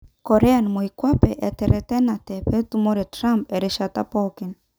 Korea moikwape eteretenate petumore Trump'erishaata pokin'.